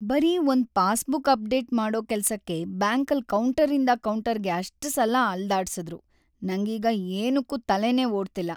ಬರೀ ಒಂದ್‌ passbook update ಮಾಡೋ ಕೆಲ್ಸಕ್ಕೆ ಬ್ಯಾಂಕಲ್ಲಿ ಕೌಂಟರಿಂದ ಕೌಂಟರ್‌ಗೆ ಅಷ್ಟ್‌ ಸಲ ಅಲ್ದಾಡ್ಸುದ್ರು, ನಂಗೀಗ ಏನಕ್ಕೂ ತಲೆನೇ ಓಡ್ತಿಲ್ಲ.